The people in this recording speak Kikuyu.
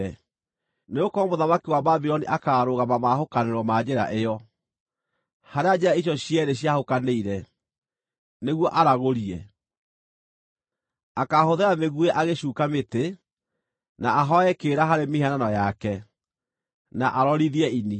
Nĩgũkorwo mũthamaki wa Babuloni akaarũgama maahũkanĩro ma njĩra ĩyo, harĩa njĩra icio cierĩ ciahũkanĩire, nĩguo aragũrie: Akaahũthĩra mĩguĩ agĩcuuka mĩtĩ, na ahooe kĩrĩra harĩ mĩhianano yake, na arorithie ini.